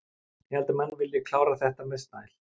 Ég held að menn vilji klára þetta með stæl.